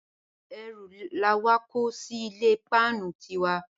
Erù làwa kó sí ilé páánu ti wa.